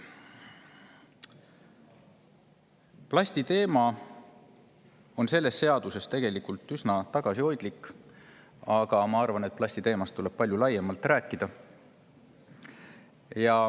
Plasti teemat on selles seaduses tegelikult üsna tagasihoidlikult, aga ma arvan, et plastist tuleks rääkida palju laiemalt.